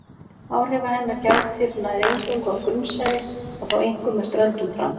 Áhrifa hennar gætir nær eingöngu á grunnsævi og þá einkum með ströndum fram.